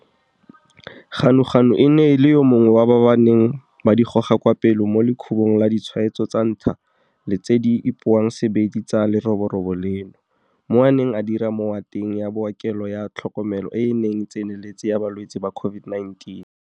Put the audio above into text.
Ganuganu e ne e le yo mongwe wa ba ba neng ba di goga kwa pele mo lekhubong laditshwaetso tsa ntlha le tse di ipoang sebedi tsa leroborobo leno, mo a neng a dira mowateng ya bookelo ya tlhokomelo e e tseneletseng ya ba lwetse ba COVID-19.